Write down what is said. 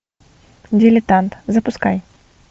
дилетант запускай